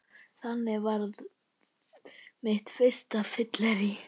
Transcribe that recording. Þannig varð mitt fyrsta fyllerí